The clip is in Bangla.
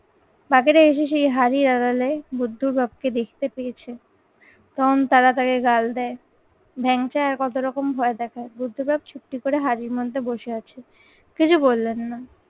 বাঘেরা এসে সেই হাঁড়ির আড়ালে বুদ্ধুর বাপকে দেখতে পেয়েছে তখন তারা তাকে গাল দেয়, ভ্যাংচা আর কত রকম ভয় দেখায়। বুদ্ধ বাপ ছুপটি করে হারির মধ্যে বসে আছে, কিছু বললেন না।